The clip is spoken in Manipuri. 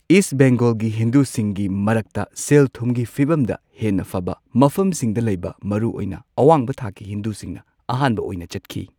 ꯏꯁ ꯕꯦꯡꯒꯣꯜꯒꯤ ꯍꯤꯟꯗꯨꯁꯤꯡꯒꯤ ꯃꯔꯛꯇ ꯁꯦꯜ ꯊꯨꯝꯒꯤ ꯐꯤꯚꯝꯗ ꯍꯦꯟꯅ ꯐꯕ ꯃꯐꯝꯁꯤꯡꯗ ꯂꯩꯕ ꯃꯔꯨꯑꯣꯏꯅ ꯑꯋꯥꯡꯕ ꯊꯥꯛꯀꯤ ꯍꯤꯟꯗꯨꯁꯤꯡꯅ ꯑꯍꯥꯟꯕ ꯑꯣꯏꯅ ꯆꯠꯈꯤ꯫